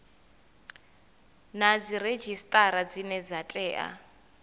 na dziredzhisitara dzine dza tea